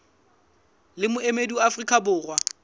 le moemedi wa afrika borwa